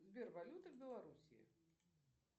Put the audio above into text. сбер валюта в белоруссии